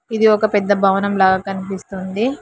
ఇది ఒక పెద్ద భవనం లాగా కనిపిస్తుంది.